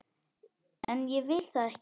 En ég vil það ekki.